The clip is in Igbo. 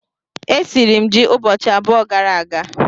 Esiri m ji ụbọchị abụọ gara aga